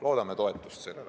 Loodame sellele toetust.